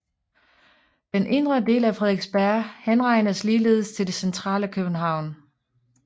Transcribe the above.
Den indre del af Frederiksberg henregnes ligeledes til det centrale København